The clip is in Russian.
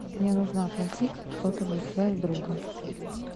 мне нужно оплатить сотовую связь друга